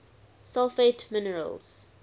sulfate minerals